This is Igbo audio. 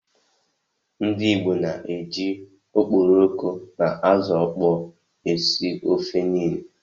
Ndi Igbo na-eji okporoko na ázụ̀ ọkpọọ esi ofe niile.